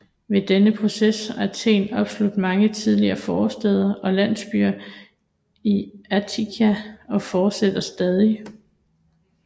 Ved denne proces har Athen opslugt mange tidligere forstæder og landsbyer i Attika og fortsætter stadig